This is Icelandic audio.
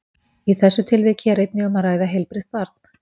Í þessu tilviki er einnig um að ræða heilbrigt barn.